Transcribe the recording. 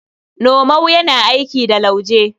Nomau yana aiki da lauje.